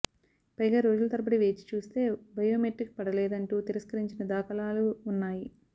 పైగా రోజుల తరబడి వేచి చూస్తే బయోమెట్రిక్ పడలేదంటూ తిరస్కరించిన దాఖ లాలూ ఉ న్నాయి